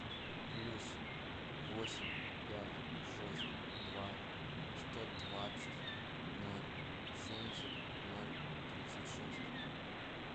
плюс восемь пять шесть два сто двадцать ноль семьдесят ноль тридцать шесть